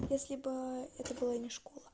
если бы это была не школа